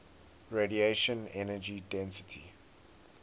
radiation energy density